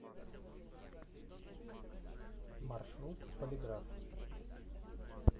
маршрут полиграф